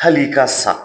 Hali i ka sa